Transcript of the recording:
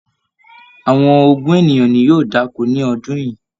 Àwọn ogún ènìyàn ní yóò da'ko ní ọdún yìí.